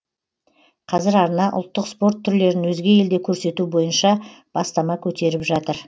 қазір арна ұлттық спорт түрлерін өзге елде көрсету бойынша бастама көтеріп жатыр